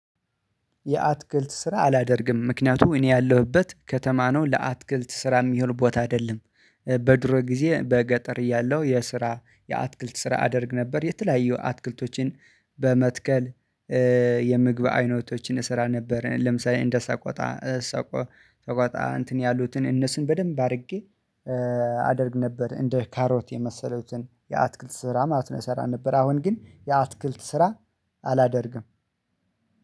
የአትክልት ስራ አላደርግም ምክንያቱም እኔ ያለሁበት ከተማ ነው ለአትክልት ስራ የሚሆን ቦታ አይደለም። በድሮ ጊዜ በገጠር እያለሁ የስራ የአትክልት ስራ አደርግ ነበር የተለያዩ አትክልቶችን በመትከል የምግብ አይነቶችን እሰራ ነበረ። ለምሳሌ እንደሰቆጣ ሰቆ ሰቆጣ እንትን ያሉትን እነሱን በደንብ አድርጌ አደርግ ነበር። እንደ ካሮት የመሰሉትን የአትክልት ስራ ማለት ነው የሰራ ነበር። አሁን ግን የአትክልት ስራ አላደርግም